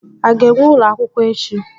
A ga-enwe ụlọ akwụkwọ echi?